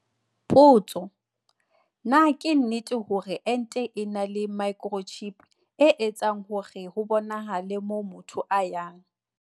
Potso- Na ke nnete hore ente e na le microchip, e etsang hore ho bonahale moo motho a yang?